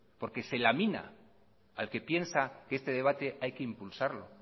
porque se lamina al que piensa que este debate hay que impulsarlo